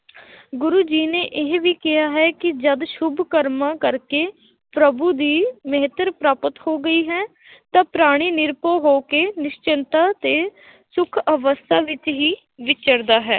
ਗੁਰੂ ਜੀ ਨੇ ਇਹ ਵੀ ਕਿਹਾ ਹੈ ਕਿ ਜਦ ਸੁਭ ਕਰਮਾਂ ਕਰਕੇ ਪ੍ਰਭੂ ਦੀ ਪ੍ਰਾਪਤ ਹੋ ਗਈ ਹੈ ਤਾਂ ਪ੍ਰਾਣੀ ਨਿਰਭਉ ਹੋ ਕੇ ਨਿਸ਼ਚਿੰਤ ਤੇ ਸੁੱਖ ਅਵਸਥਾ ਵਿੱਚ ਹੀ ਵਿਚਰਦਾ ਹੈ